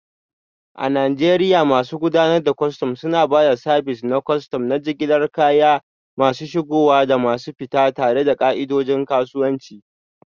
A Najeriya, masu gudanar da kwastam suna ba da sabis na kwastam na jigilar kaya masu shigowa da masu fita, tare da ka'idojin kasuwanci.